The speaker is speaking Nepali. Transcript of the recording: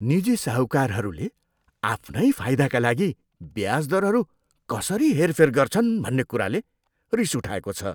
निजी साहूकारहरूले आफ्नै फाइदाका लागि ब्याज दरहरू कसरी हेरफेर गर्छन् भन्ने कुराले रिस उठाएको छ।